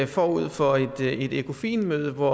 forud for et økofin møde hvor